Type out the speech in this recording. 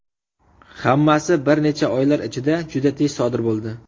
Hammasi bir necha oylar ichida juda tez sodir bo‘ldi.